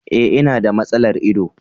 E, ina da matsalar ido.